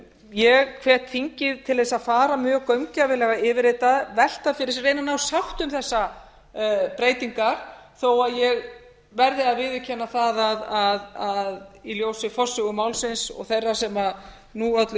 ég hvet þingið til þess að fara mjög gaumgæfilega yfir þetta velta fyrir sér reyna að ná sátt um þessar breytingar þó að ég verði að viðurkenna það að í ljósi forsögu málsins og þeirra sem nú öllu